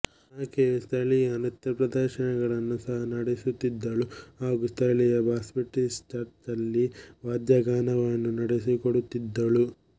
ಆಕೆಯು ಸ್ಥಳೀಯ ನೃತ್ಯಪ್ರದರ್ಶನಗಳನ್ನು ಸಹ ನೀಡುತ್ತಿದ್ದಳು ಹಾಗು ಸ್ಥಳೀಯ ಬಾಪ್ಟಿಸ್ಟ್ ಚರ್ಚ್ನಲ್ಲಿ ವಾದ್ಯಗಾನವನ್ನು ನಡೆಸಿಕೊಡುತ್ತಿದ್ದಳು